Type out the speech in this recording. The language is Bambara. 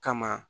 Kama